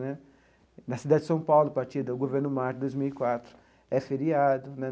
Né na cidade de São Paulo, a partir do Governo Marta dois mil e quatro, é feriado né.